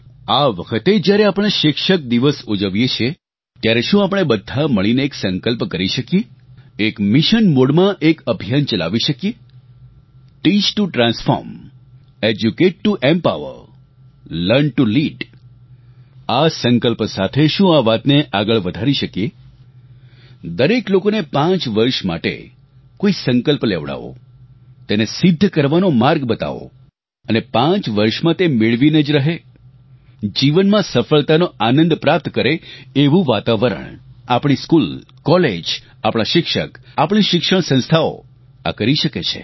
આ વખતે જ્યારે આપણે શિક્ષક દિવસ ઉજવીએ ત્યારે શું આપણે બધા મળીને એક સંકલ્પ કરી શકીએ એક મિશન મોડમાં એક અભિયાન ચલાવી શકીએ teach to transform educate to empower learn to lead આ સંકલ્પ સાથે શું આ વાતને આગળ વધારી શકીએ દરેક લોકોને પાંચ વર્ષ માટે કોઇ સંકલ્પ લેવડાવો તેને સિધ્ધ કરવાનો માર્ગ બતાવો અને પાંચ વર્ષમાં તે મેળવીને જ રહે જીવનમાં સફળતાનો આનંદ પ્રાપ્ત કરે એવું વાતાવરણ આપણી સ્કૂલ કોલેજ આપણા શિક્ષક આપણી શિક્ષણ સંસ્થાઓ આ કરી શકે છે